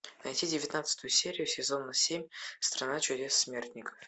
найти девятнадцатую серию сезона семь страна чудес смертников